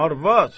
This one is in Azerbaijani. Arvad,